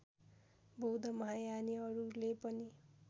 बौद्ध महायानीहरूले पनि